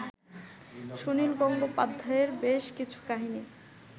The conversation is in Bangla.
সুনীল গঙ্গোপাধ্যায়ের বেশ কিছু কাহিনী